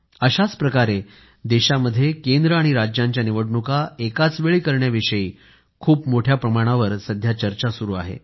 अशाच प्रकारे देशामध्ये केंद्र आणि राज्यांच्या निवडणुका एकाचवेळी करण्याविषयी खूप मोठ्या प्रमाणावर सध्या चर्चा सुरू आहे